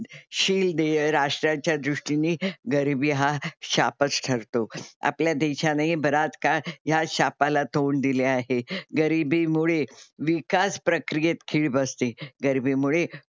शील देय राष्ट्राच्या दृष्टीने गरीबी हा शापच ठरतो. आपल्या देशानेही बराच काळ ह्या शापाला तोंड दिले आहे. गरीबीमुळे विकास प्रक्रियेत खीळ बसते. गरीबीमुळे,